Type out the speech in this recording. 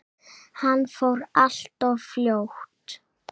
Hann fór allt of fljótt.